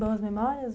Boas memórias?